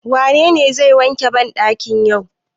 Wanene zai wanke bandakin yau?